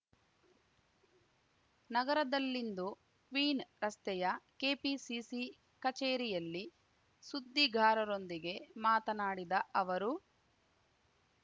ನಗರದಲ್ಲಿಂದು ಕ್ವೀನ್ ರಸ್ತೆಯ ಕೆಪಿಸಿಸಿ ಕಚೇರಿಯಲ್ಲಿ ಸುದ್ದಿಗಾರರೊಂದಿಗೆ ಮಾತನಾಡಿದ ಅವರು